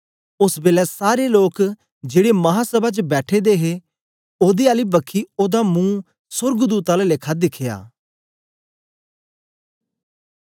ओस बेलै सारें लोक जेड़े महासभा च बैठे दे हे ओदे आली बखी ओदा मुं सोर्गदूत आला लेखा दिखया